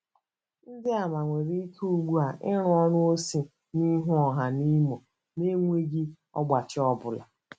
Ndị àmà nwere ike ugbu a ịrụ ọrụ ozi n’ihu ọha n’Imo na enweghị ọgbachi ọ bụla